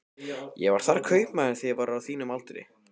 Ég var þar kaupmaður þegar ég var á þínum aldri.